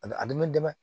A bɛ a bɛ nɛmɛ